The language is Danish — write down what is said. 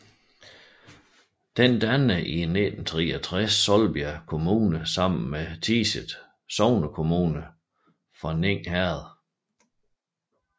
Den dannede i 1963 Solbjerg Kommune sammen med Tiset sognekommune fra Ning Herred